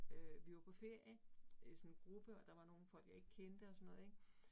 Øh vi var på ferie øh sådan en gruppe, og der var nogle folk, jeg ikke kendte og sådan noget ik